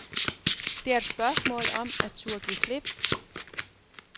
Det er et spørgsmål om at turde give slip.